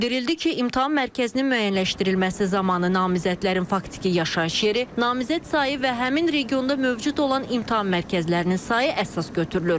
Bildirildi ki, imtahan mərkəzinin müəyyənləşdirilməsi zamanı namizədlərin faktiki yaşayış yeri, namizəd sayı və həmin regionda mövcud olan imtahan mərkəzlərinin sayı əsas götürülür.